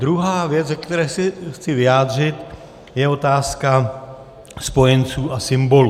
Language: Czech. Druhá věc, ke které se chci vyjádřit, je otázka spojenců a symbolů.